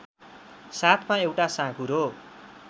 साथमा एउटा साँघुरो